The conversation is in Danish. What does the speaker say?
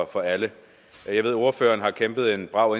for alle jeg ved at ordføreren har kæmpet en brav